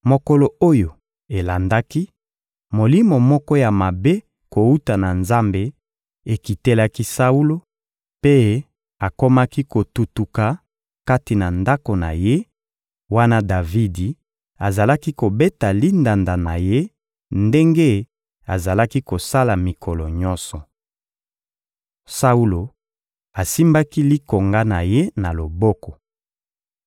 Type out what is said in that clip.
Mokolo oyo elandaki, molimo moko ya mabe kowuta na Nzambe ekitelaki Saulo, mpe akomaki kotuntuka kati na ndako na ye, wana Davidi azalaki kobeta lindanda na ye ndenge azalaki kosala mikolo nyonso. Saulo asimbaki likonga na ye na loboko.